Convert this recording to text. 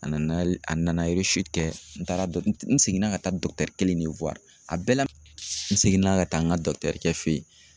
A nana a nana kɛ n taara n n seginna ka taa kelen ne a bɛɛ la n seginna ka taa n ka kɛ fɛ yen